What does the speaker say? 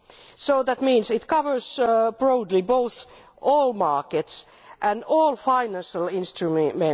So that means it covers broadly both all markets and all financial instruments.